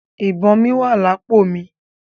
Ìbọn mí wà lápò mi.